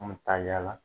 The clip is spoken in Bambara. An bɛ taa yaala